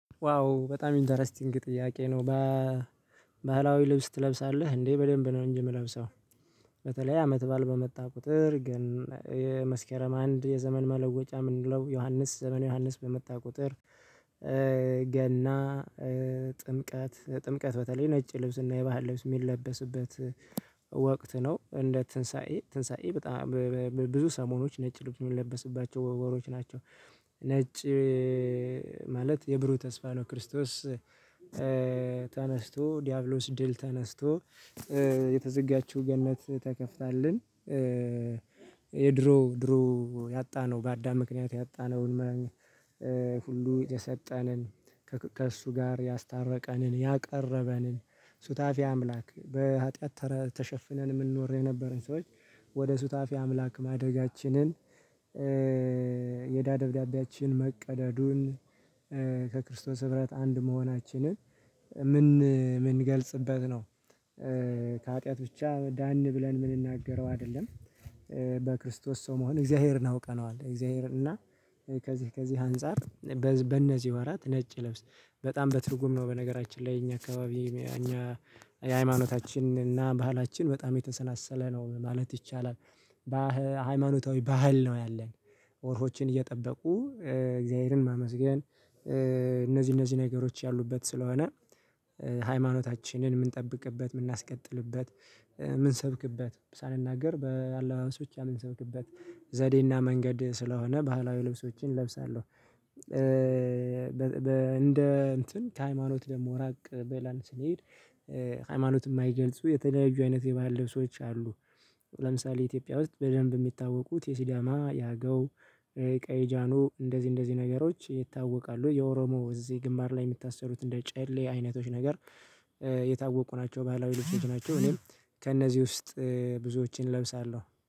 ዋው በጣም ኢንተረስቲንግ ጥያቄ ነው በባህላዊ ልብስ ትለብሳለህ እንዴ? በደንብ ነው እንጂ የምለብሰው። በተለይ አመት በዓል በመጣ ቁጥር ግን የመስከረም አንድ የዘመን መለወጫ የምንለው ዮሐንስ ዘመን ዮሐንስ በመጣ ቁጥር። ገና ጥምቀት ጥምቀት በተለይ ነጭ ልብስና የባህል ልብስ የሚለበስበት ወቅት ነው። እንደ ትንሳኤ ትንሳኤ በጣም ብዙ ሰሞኖች ነጭ ልብን የሚለብስባቸው ወር ወሮች ናቸው። ነጭ ማለት ብሩህ ተስፋ ነው። ክርስቶስ ተነስቶ ዲያብሎስ ድል ተነስቶ የተዘጋችው ገነት ተከፍታልናልናለችና። የድሮ ድሮ ያጣነው በአዳም ምክንያት ያጣነውን መላእክት የሰጠንን ከእሱ ጋር ያስታረቀንን ያቀረበንን ሱታፊ አምላክ በሀጥያት ተሸፍነን የምንኖር የነበረን ሰዎች ወደ ሱታፊ አምላክ ማደጋችንን። የዳ ደብዳቤያችን መቀደዱን ከክርስቶስ ህብረት አንድ መሆናችንን ምን ምንገልጽበት ነው። ከሀጥያት ብቻ ዳን ብለን የምንናገረው አይደለም። በክርስቶስ ሰው መሆን እግዚአብሔርን አውቀነዋል እግዚአብሔር እና። ከዚህ ከዚህ አንፃር በእነዚህ ወራት ነጭ ልብስ በጣም በትርጉም ነው በነገራችን ላይ የኛ አካባቢ። የኛ እና ባህላችን በጣም የተሳሰረ ነው ማለት ይቻላል። በሃይማኖታዊ ባህል ነው ያለን ወቅቶችን እየጠበቁ እግዚአብሔርን ማመስገን። እነዚህ እነዚህ ነገሮች ያሉበት ስለሆነ። ሃይማኖታችንን የምንጠብቅበት የምናስቀጥልበት የምንሰብክበት ሳንናገር በአለባበስ ብቻ ምንሰብክበት ዘዴና መንገድ ስለሆነ ባህላዊ ልብሶችን እለብሳለሁ። እንደ እንትን ከሃይማኖት ደግሞ ራቅ ብለን ስንሄድ። ሃይማኖትን የማይገልጹ የተደራጁ አይነት የባህል ልብሶች አሉ። ለምሳሌ ኢትዮጵያ ውስጥ በደንብ የሚታወቁት የሲዳማ ያገው። ቀይ ጃኖ እንደዚህ እንደዚህ ነገሮች ይታወቃሉ። የኦሮሞ እዚህ ግምባር ላይ የሚታሰሩት እንደ ጨሌ አይነቶች ነገር የታወቁ ናቸው። ባህላዊ ልብሶች ናቸው እኔም ከእነዚህ ውስጥ ብዙዎችን እለብሳለሁ